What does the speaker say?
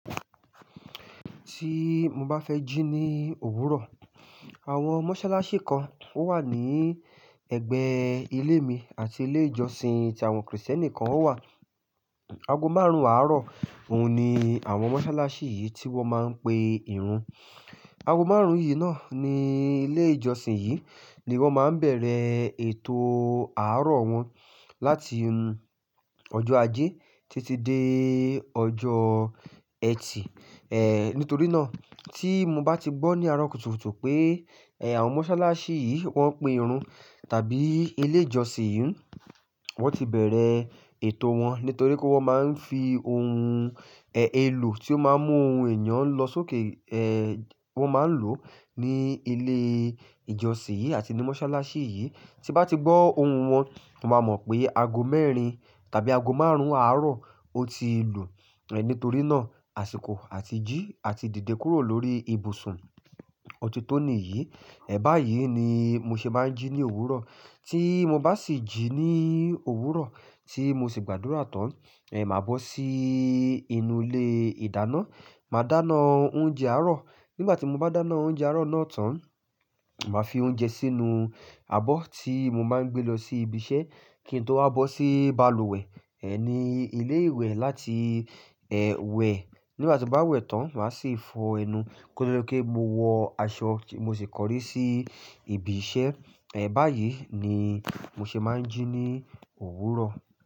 Tí mo bá fẹ́ jí ní òwúrọ̀, àwọn mọ́sálásí kan ó wà ní ẹ̀gbẹ́ ilé mi àti ilé ìjọsìn tí àwọn Krìsìtẹ́nì kan ó wà. Ago márùn-ún àárọ̀ òun ni àwọn mọ́sálásí yìí tí wọ́n máa ń pe ìrun. Ago márùn-ún yìí náà ní ilé ìjọsìn yìí ni wọ́n máa ń bẹ̀rẹ̀ ètò àárọ̀ wọn láti ọjọ́ ajé títí dé ọjọ́ ẹtì. È, nítorí náà tí mo bá ti gbọ́ ní àárọ̀ kùtùkùtù pé, ẹ, àwọn mọ́sálásí yìí wọ́n pè irun tàbí ilé ìjọsìn yìí wọ́n ti bẹ̀rẹ̀ ètò wọn. Nítorí pé wọ́n máa ń fi ohun, ẹ, èlò tí ó máa ń mú ohun ẹ̀yán lọ sókè, ẹ, wọ́n máa ń lò ní ilé ìjọsìn yìí àti ní mọ́sálásí yìí. Tí mo bá ti gbọ́ ohùn wọn, mo máa mọ̀ pé ago mẹ́rin tàbí ago márùn-ún àárọ̀ ó ti lù. Ẹ, nítorí náà, àsìkò àti jí àti dìde kúrò lórí ibùsùn ọtí tó nìyí, ẹ, báyìí ni mo ṣe máa ń jí ní òwúrọ̀. Tí mo bá sì jí ní òwúrọ̀ tí mo sì gbàdúrà tán, ẹ, màá bọ́ sí inú ilé ìdáná, màá dáná oúnjẹ àárọ̀. Nígbà tí mo bá dáná oúnjẹ àárọ̀ náà tán, màá fi oúnjẹ sínú abọ́ tí mo máa ń gbé lọ sí ibi iṣẹ́ kí n tó wá bọ́ sí bàlùwẹ̀, ẹ, ní ilé ìwẹ̀ láti, ẹ, wẹ̀. Nígbà tí mo bá wẹ̀ tán, màá sì fọ ẹnu kí ó tó leké mo wọ aṣọ mo sì kọrí sí ibi iṣẹ́. Ẹ, báyìí ni mo ṣe máa ń jí ní òwúrọ̀.